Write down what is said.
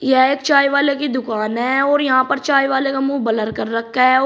यह एक चाय वाले की दुकान है और यहां पर चाय वाले का मुंह ब्लर कर रखा है और--